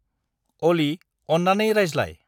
अलि, अन्नानै राज्लाय।